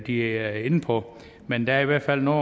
er inde på men der er i hvert fald noget